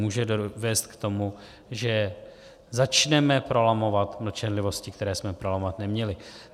Může vést k tomu, že začneme prolamovat mlčenlivosti, které jsme prolamovat neměli.